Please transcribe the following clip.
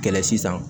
Kɛlɛ sisan